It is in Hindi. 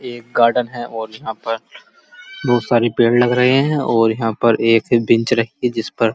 ये एक गार्डन है और यहाँ पर बोहोत सारे पेड़ लग रहे हैं और यहाँ पर एक बेंच रखी है। जिस पर --